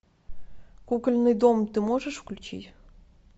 кукольный дом ты можешь включить